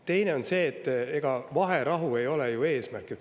Teine asi on see, et ega vaherahu ei ole ju eesmärk.